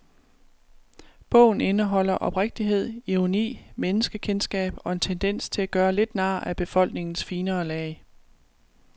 Bogen indeholder oprigtighed, ironi, menneskekendskab og en tendens til at gøre lidt nar af befolkningens finere lag.